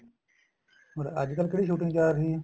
ਮਤਲਬ ਅੱਜਕਲ ਕਿਹੜੀ shooting ਚੱਲ ਰਹੀ ਏ